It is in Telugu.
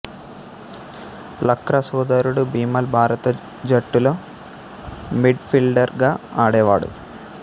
లక్రా సోదరుడు బిమల్ భారత జట్టులో మిడ్ఫీల్డర్ గా ఆడేవాడు